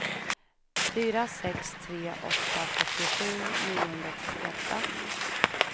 fyra sex tre åtta fyrtiosju niohundratrettioåtta